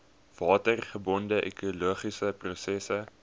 watergebonde ekologiese prosesse